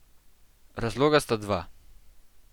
Razloga sta dva.